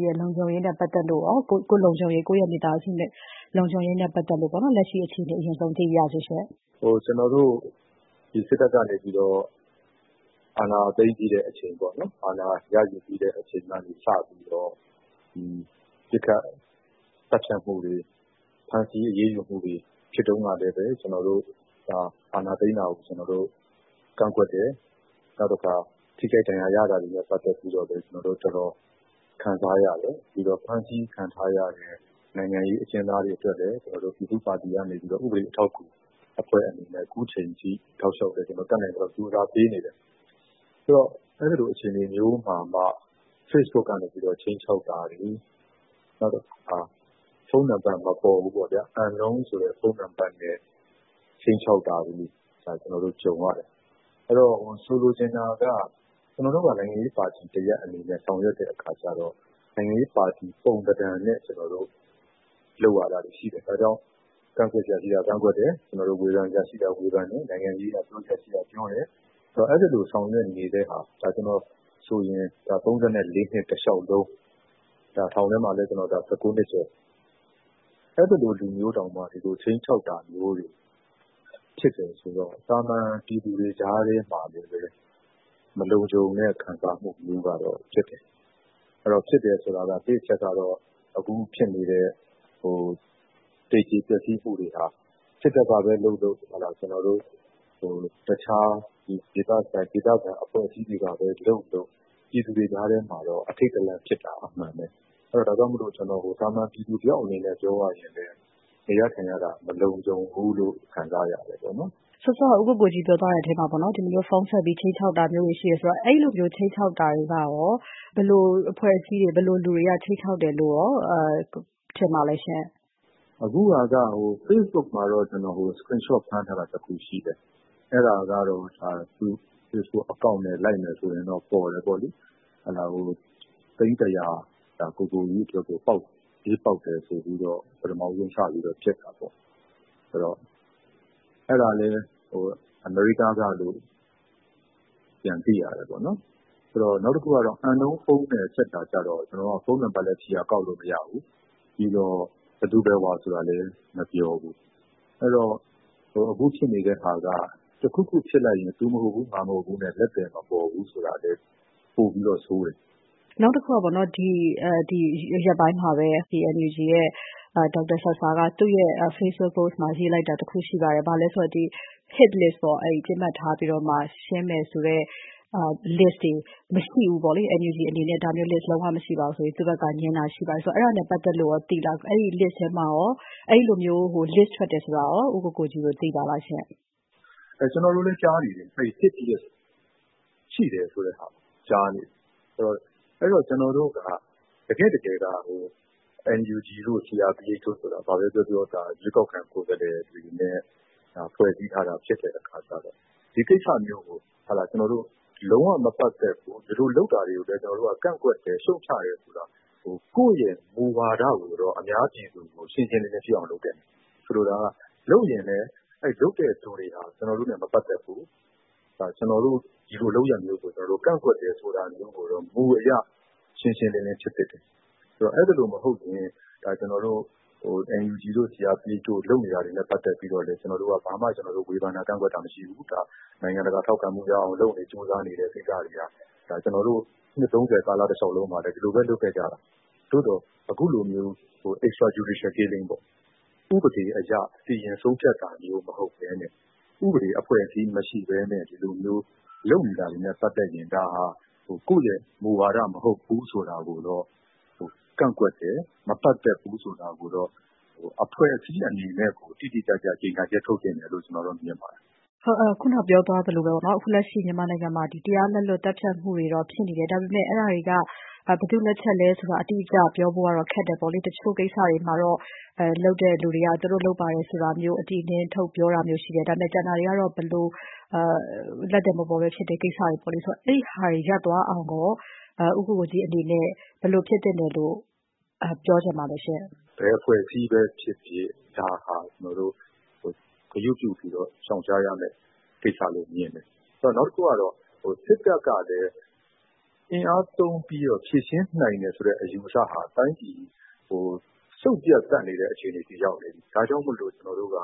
းရဲ့ လုံခြုံရေးနဲ့ ပတ်သက်လို့ရော၊ ကိုယ့်လုံခြုံရေး၊ ကိုယ့်ရဲ့မိသားစု လုံခြုံရေးနဲ့ ပတ်သက်လို့ လက်ရှိအခြေအနေ အရင်ဆုံး သိပါရစေ။ “စစ်တပ်က အာဏာသိမ်းပြီးတဲ့အချိန်၊ အာဏာရယူပြီးတဲ့အချိန်က စပြီးတော့ ပစ်ခတ်သတ်ဖြတ်မှုတွေ၊ ဖမ်းဆီးအရေးယူမှုတွေ ဖြစ်တုန်းကလည်း ကျနော်တို့ အာဏာသိမ်းတာကို ကန့်ကွက်တယ်။ နောက် ထိခိုက်ဒဏ်ရာရတာတွေနဲ့ ပတ်သက်ပြီးတော့ ကျနော်တို့ တော်တော်ခံစားရတယ်။ ပြီးတော့ ဖမ်းဆီးခံထားရတဲ့ နိုင်ငံရေးအကျဉ်းသားတွေအတွက်လည်း ပြည်သူ့ပါတီကနေ ဥပဒေ အထောက်အကူအဖွဲ့ အနေနဲ့ ခုချိန်ထိ တောက်လျှောက်လည်း တတ်နိုင်သလောက် ကြိုးစားပေးနေတယ်။ ဆိုတော့ အဲဒီလို အခြေအနေမျိုးမှာမှ ဖေ့စ်ဘုတ်ကနေ ခြိမ်းခြောက်တာတွေ၊ နောက်တခါ ဖုန်းနံပါတ် မပေါ်ဘူးပေါ့ဗျာ၊ Unknown ဆိုတဲ့ ဖုန်းနံပါတ်နဲ့ ခြိမ်းခြောက်တာတွေ ကျနော်တို့ ကြုံရတယ်။ ဆိုလိုချင်တာက ကျနော်တို့က နိုင်ငံရေးပါတီတရပ်အနေနဲ့ ဆောင်ရွက်တဲ့အခါကြတော့ နိုင်ငံရေးပါတီ ပုံသဏ္ဌာန်နဲ့ လုပ်ရတာတွေ ရှိတယ်။ ဒါကြောင့် ကန့်ကွက်စရာရှိတာ ကန့်ကွက်တယ်၊ ဝေဖန်စရာရှိတာ ဝေဖန်တယ်၊ နိုင်ငံရေးအရ ပြောစရာရှိတာ ပြောတယ်။ ဆိုတော့ အဲဒီလို ဆောင်ရွက်နေတဲ့ဟာ၊ ဒါ ကျနော်ဆိုရင် ၃၄ နှစ် တလျှောက်လုံး၊ ထောင်ထဲမှာလည်း ၁၉ နှစ်ကျော်၊ အဲဒီလိုလူမျိုးတောင်မှ ဒီလို ခြိမ်းခြောက်တာမျိုးတွေ ဖြစ်တယ်ဆိုတော့ သာမန်ပြည်သူတွေ ကြားထဲမှာလည်း မလုံခြုံတဲ့ ခံစားမှုမျိုးကတော့ ဖြစ်တယ်။ ဖြစ်တယ်ဆိုတာက တစ်အချက်ကတော့ အခုဖြစ်နေတဲ့ သေကျေပျက်စီးမှုတွေဟာ စစ်တပ်ကပဲလုပ်လုပ်၊ တခြား ဒေသခံ အဖွဲ့အစည်းတွေကပဲလုပ်လုပ် ပြည်သူတွေကြားထဲမှာတော့ အထိတ်တလန့်ဖြစ်တာ အမှန်ပဲ။ ဒါကြောင့် ကျနော် သာမန်ပြည်သူတယောက်အနေနဲ့ ပြောရရင်လည်း နေရထိုင်ရတာ မလုံခြုံဘူးလို့ ခံစားရတယ်။” စောစောက ဦးကိုကိုကြီး ပြောသွားတဲ့အထဲမှာ ဒီလိုမျိုး ဖုန်းဆက်ပြီး ခြိမ်းခြောက်တာမျိုးတွေ ရှိတယ်ဆိုတော့ အဲဒီလိုမျိုး ခြိမ်းခြောက်တာတွေကရော ဘယ်လိုအဖွဲ့အစည်းတွေ ဘယ်လိုလူတွေက ခြိမ်းခြောက်တယ်လို့ ထင်ပါသလဲ။ “အခုဟာက ဖေ့စ်ဘုတ်မှာတော့ ကျနော် Screenshot ဖမ်းထားတာ တခုရှိတယ်။ အဲဒါကတော့ သူ့ ဖေ့စ်ဘုတ်အကောင့်နဲ့ လိုက်မယ်ဆိုရင်တော့ ပေါ်တယ်ပေါ့လေ။ သိန်း ၁၀၀ ကိုကိုကြီးအတွက်ကို ကြေးပေါက်တယ်ဆိုပြီးတော့ ပထမဆုံး စပြီးတော့ ပစ်တာပေါ့။ အဲဒါကလည်း အမေရိကားကလို့ ပြန်သိရတယ်။ နောက်တခု Unknown ဖုန်းနဲ့ ဆက်တာကြတော့ ဖုန်းနံပါတ်လည်း ခြေရာကောက်လို့ မရဘူး၊ ဘယ်သူဘယ်ဝါဆိုတာလည်း မပြောဘူး။ အဲတော့ အခုဖြစ်နေတဲ့ဟာက တခုခုဖြစ်လိုက်ရင် သူမဟုတ်ဘူး၊ ငါမဟုတ်ဘူးနဲ့ လက်သည်မပေါ်ဘူး ဆိုတာလည်း ပိုပြီးတော့ ဆိုးတယ်။” နောက်တခုက ဒီရက်ပိုင်းမှာပဲ NUG ရဲ့ ဒေါက်တာဆာဆာက သူ့ရဲ့ ဖေ့စ်ဘုတ်ပို့စ်မှာ ရေးလိုက်တာတခု ရှိပါတယ်။ ဘာလဲဆိုတော့ Hit List ပေါ့၊ ပစ်မှတ်ထားပြီး ရှင်းမယ်ဆိုတဲ့ List တွေ မရှိဘူးပေါ့လေ၊ NUG အနေနဲ့ ဒါမျိုး List လုံးဝ မရှိပါဘူးဆိုပြီး သူ့ဘက်ကငြင်းတာ ရှိပါတယ်။ အဲဒါနဲ့ ပတ်သက်လို့ရော သိလား၊ အဲဒီ List ထဲမှာရော၊ အဲဒီလိုမျိုး List ထွက်တယ်ဆိုတာရော ဦးကိုကိုကြီးတို့ သိပါသလား။ “ကျနော်တို့လည်း ကြားနေတယ်။ Hit List ရှိတယ်ဆိုတဲ့ဟာကို ကြားနေတယ်။ အဲ့ဒီတော့ ကျနော်တို့က တကယ့်တကယ်က NUG တို့ CRPH တို့ဆိုတာ ဘာပဲပြောပြော ရွေးကောက်ခံ ကိုယ်စားလှယ်တွေနဲ့ ဖွဲ့စည်းထားတာ ဖြစ်တဲ့အခါကြတော့ ဒီကိစ္စမျိုးကို ကျနော်တို့ လုံးဝမပတ်သက်ဘူး၊ ဒီလိုလုပ်တာတွေကိုလည်း ကျနော်တို့က ကန့်ကွက်တယ်၊ ရှုတ်ချတယ် ဆိုတာမျိုး၊ ကိုယ့်ရဲ့မူဝါဒကို အများပြည်သူကို ရှင်းရှင်းလင်းလင်းဖြစ်အောင် လုပ်သင့်တယ်။ ဆိုလိုတာက လုပ်ရင်လည်း အဲဒီလုပ်တဲ့လူတွေဟာ ကျနော်တို့နဲ့ မပတ်သက်ဘူး။ ဒီလိုလုပ်ရပ်မျိုးကို ကျနော်တို့ ကန့်ကွက်တယ် ဆိုတာမျိုးကိုတော့ မူအရ ရှင်းရှင်းလင်းလင်း ဖြစ်သင့်တယ်။ အဲဒီလိုမဟုတ်ရင် ကျနော်တို့ NUG တို့ CRPH တို့ လုပ်နေတာတွေနဲ့ ပတ်သက်ပြီး ကျနော်တို့က ဘာမှ ဝေဖန်တာ ကန့်ကွက်တာ မရှိဘူး။ နိုင်ငံတကာ ထောက်ခံမှုရအောင် လုပ်နေ ကြိုးစားနေတဲ့ကိစ္စတွေဟာ ကျနော်တို့ နှစ် ၃၀ ကာလတလျှောက်လုံးမှာလည်း ဒီလိုပဲ လုပ်ခဲ့ကြတာပဲ။ သို့သော် အခုလိုမျိုး Extrajudicial Killings ပေါ့၊ ဥပဒေအရ စီရင်ဆုံးဖြတ်တာမျိုး မဟုတ်ဘဲနဲ့ ဥပဒေအဖွဲ့အစည်း မရှိဘဲနဲ့ ဒီလိုမျိုး လုပ်နေတာတွေနဲ့ ပတ်သက်ရင် ဒါက ကိုယ့်ရဲ့မူဝါဒ မဟုတ်ဘူး ဆိုတာကိုတော့ ကန့်ကွက်တယ်၊ မပတ်သက်ဘူး ဆိုတာကိုတော့ အဖွဲ့အစည်း အနေနဲ့ကို တိတိကျကျ ကြေညာချက် ထုတ်သင့်တယ်လို့ ကျနော်တော့ မြင်ပါတယ်။” ခုန ပြောသွားသလိုပဲ အခုလက်ရှိ မြန်မာနိုင်ငံမှာ တရားလက်လွတ် သတ်ဖြတ်မှုတွေတော့ ဖြစ်နေတယ်။ ဒါပေမယ့် အဲဒီဟာတွေက ဘယ်သူ့လက်ချက်လဲဆိုတာ အတိအကျပြောဖို့ကတော့ ခက်တယ်ပေါ့လေ။ တချို့ကိစ္စတွေမှာတော့ လုပ်တဲ့လူတွေက သူတို့လုပ်ပါတယ်ဆိုတာမျိုး အတိအလင်း ထုတ်ပြောတာမျိုး ရှိတယ်။ ဒါပေမယ့် ကျန်တာတွေကတော့ လက်သည်မပေါ်ဘဲဖြစ်တဲ့ ကိစ္စတွေပေါ့လေ။ အဲဒီဟာတွေ ရပ်သွားအောင်ရော ဦးကိုကိုကြီး အနေနဲ့ ဘယ်လိုဖြစ်သင့်တယ်လို့ ပြောချင်ပါသလဲ။ “ဘယ်အဖွဲ့အစည်းပဲဖြစ်ဖြစ် ဒါဟာ ကျနော်တို့ ဂရုပြုပြီး ရှောင်ရှားရမယ့် ကိစ္စလို့ မြင်တယ်။ နောက်တခုက စစ်တပ်ကလည်း အင်အားသုံးပြီးတော့ ဖြေရှင်းနိုင်တယ်ဆိုတဲ့ အယူအဆဟာ တိုင်းပြည်ကို စုတ်ပြတ်သတ်တဲ့ အခြေအနေအထိ ရောက်နေပြီ။ ဒါကြောင့်မို့ ကျနော်တို့က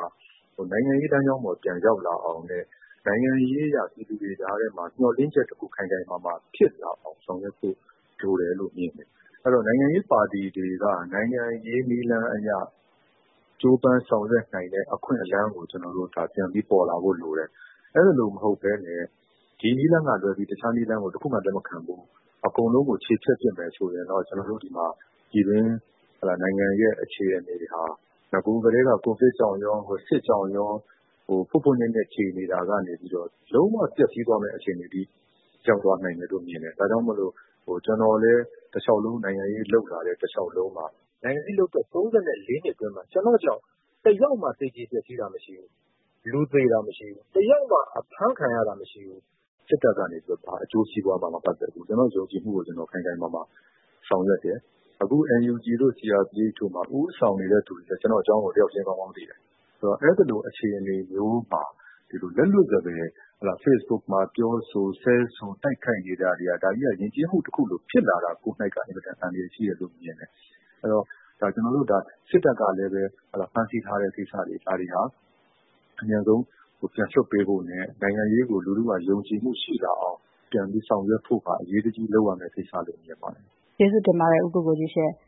နိုင်ငံရေးလမ်းကြောင်းပေါ် ပြန်ရောက်လာအောင်နဲ့ နိုင်ငံရေးအရ ပြည်သူတွေကြားထဲမှာ မျှော်လင့်ချက်တခု ခိုင်ခိုင်မာမာဖြစ်လာအောင် ဆောင်ရွက်ဖို့ လိုတယ်လို့ မြင်တယ်။ အဲဒီတော့ နိုင်ငံရေးပါတီတွေက နိုင်ငံရေးနည်းလမ်းအရ ကြိုးပမ်းဆောင်ရွက်နိုင်တဲ့ အခွင့်အလမ်းကို ပြန်ပြီးပေါ်လာဖို့ လိုတယ်။ အဲဒီလိုမဟုတ်ဘဲနဲ့ ဒီနည်းလမ်းကလွဲပြီး တခြားနည်းလမ်းကို တခုမှ လက်မခံဘူး၊ အကုန်လုံးကို ချေဖျက်ပစ်မယ် ဆိုရင်တော့ ပြည်တွင်း နိုင်ငံရဲ့ အခြေအနေဟာ နဂိုကတည်းက ကိုဗစ်ကြောင့်ရော စစ်ကြောင့်ရော ဖွတ်ဖွတ်ညက်ညက် ကြေနေတာကနေပြီးတော့ လုံးဝပျက်စီးသွားမယ့် အခြေအနေထိ ရောက်သွားနိုင်တယ်လို့ မြင်တယ်။ ဒါကြောင့် ကျနော်လည်း နိုင်ငံရေးလုပ်လာတဲ့ တလျှောက်လုံးမှာ၊ နိုင်ငံရေးလုပ်သက် ၃၄ နှစ်အတွင်းမှာ ကျနော့်ကြောင့် တယောက်မှ သေကျေပျက်စီးတာ မရှိဘူး။ လူသေတာ မရှိဘူး။ တယောက်မှ အဖမ်းခံရတာမရှိဘူး။ စစ်တပ်ကနေပြီး ဘာအကျိုးစီးပွားမှ မပတ်သက်ဘူး။ ကျနော့်ယုံကြည်မှုကို ကျနော် ခိုင်ခိုင်မာမာ ဆောင်ရွက်တယ်။ အခု NUG တို့ CRPH တို့မှာ ဦးဆောင်နေတဲ့သူတွေလည်း ကျနော့်အကြောင်းကို တယောက်ချင်း ကောင်းကောင်းသိတယ်။ ဆိုတော့ အဲဒီလို အခြေအနေမျိုးမှာ လက်လွတ်စပယ် ဖေ့စ်ဘုတ်မှာ ပြောဆို ဆဲဆို တိုက်ခိုက်နေတာ ဒါကြီးက ယဉ်ကျေးမှုတခုလို ဖြစ်လာတာကိုက အင်မတန် အန္တရာယ်ကြီးတယ်လို့ မြင်တယ်။ အဲ့တော့ စစ်တပ်ကလည်း ဖမ်းဆီးထားတဲ့ ကိစ္စတွေ ဒါတွေဟာ အမြန်ဆုံး ပြန်လွှတ်ပေးဖို့နဲ့ နိုင်ငံရေးကို လူထုက ယုံကြည်မှုရှိလာအောင် ပြန်ပြီး ဆောင်ရွက်ဖို့က အရေးတကြီးလုပ်ရမယ့် ကိစ္စလို့ မြင်ပါတယ်။” ကျေးဇူးတင်ပါတယ် ဦးကိုကိုကြီးရှင့်။